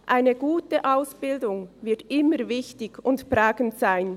Eine gute Ausbildung wird immer wichtig und prägend sein.